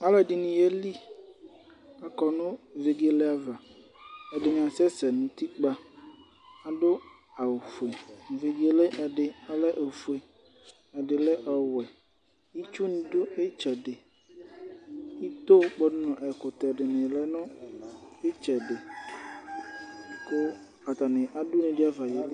Alʋɛdɩnɩ yeli. Akɔ nʋ vegele ava. Ɛdɩnɩ asɛsɛ nʋ utikpǝ. Adʋ awʋfue. Vegele yɛ ɛdɩ ɔlɛ ofue, ɛdɩ lɛ ɔwɛ. Itsunɩ dʋ ɩtsɛdɩ, ito kpɔdʋ nʋ ɛkʋtɛ dɩnɩ lɛ nʋ ɩtsɛdɩ kʋ atanɩ adʋ une dɩ ava yeli.